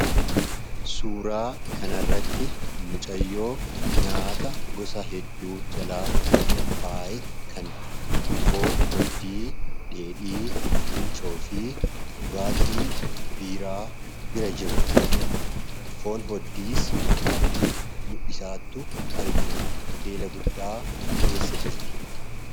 Suuraa kanarratti mucayyoo nyaata hedduu jalaa qophaaye kan foon dheedhii fi dhugaatii biiraa ol qabdee nyaattu argina. Hoteela guddaa keessa jirti.